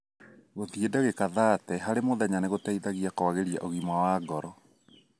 Gũthĩi ndagĩka thate harĩ muthenya nĩgũteithagia kwagĩria ũgima wa ngoro.